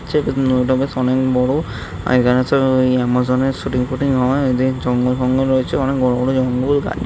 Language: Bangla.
চে নদীটা বেশ অনেক বড়। আর এখানে সব ওই আমাজন এর শুটিং ফুটিং হয় এদের জঙ্গল ফঙ্গল রয়েছে অনেক বড় বড় জঙ্গল গাছ --